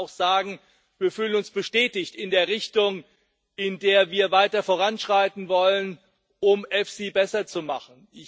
Aber ich darf auch sagen Wir fühlen uns bestätigt in der Richtung, in der wir weiter voranschreiten wollen, um EFSI besser zu machen.